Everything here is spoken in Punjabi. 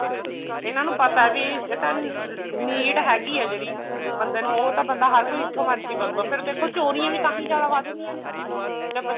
ਇਹਨਾ ਨੂੰ ਪਤਾ ਵੀ ਇਹ ਤਾਂ need ਹੈਗੀ ਹੈ ਜਿਹੜੀ ਬੰਦੇ ਨੂੰ ਉਹ ਤਾਂ ਬੰਦਾ ਹਰ ਕੋਈ ਜਿੱਥੋਂ ਮਰਜ਼ੀ ਕਰੂਗਾ ਫ਼ੇਰ ਦੇਖੋ ਚੋਰੀਆਂ ਵੀ ਜਿਆਦਾ ਵੱਧ ਰਹੀਆਂ ਨੇ ਜਦ